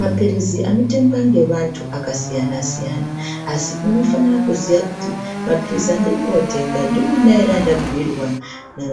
Maphirizi anotengwa ngevantu akasiyana siyana, asi unofanira kuziya kuti maphirizi andiri kotenga ndiwona ere andabhuyirwa